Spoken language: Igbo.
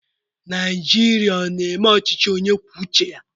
Naijiria ọ na-eme ọchịchị onye kwuo uche ya?